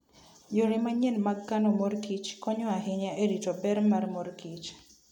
Yore manyien mag kano mor kich konyo ahinya e rito ber mar mor kich.